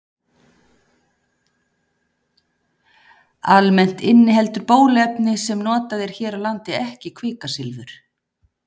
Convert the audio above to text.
Almennt inniheldur bóluefni sem notað er hér á landi ekki kvikasilfur.